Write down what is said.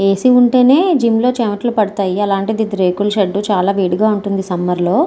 ఏ. C. ఉంటేనే gym లో చెమటలు పడతాయా అలాంటిది ఇది రేకుల షెడ్డు చాలా వేడిగా ఉంటుంది సమ్మర్ లో.